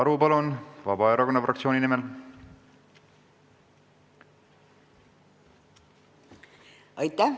Krista Aru Vabaerakonna fraktsiooni nimel, palun!